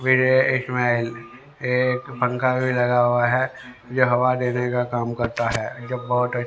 एक पंखा भी लगा हुआ है जो हवा देने का काम करता है जो बहोत अच्छ--